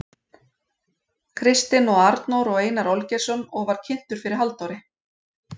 Kristinn og Arnór og Einar Olgeirsson og var kynntur fyrir Halldóri